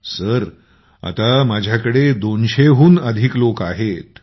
मंजूर जी आता माझ्याकडे २०० हून अधिक लोक आहेत